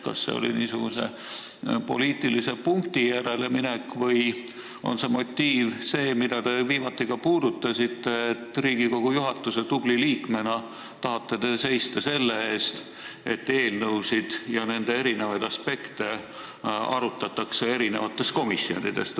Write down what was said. Kas see oli poliitilise punkti järele minek või on motiiv see, mida te viimati ka puudutasite, et Riigikogu juhatuse tubli liikmena te tahate seista selle eest, et eelnõusid ja nende eri aspekte arutatakse erinevates komisjonides?